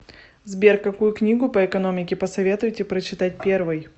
сбер какую книгу по экономике посоветуете прочитать первой